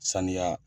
Sanuya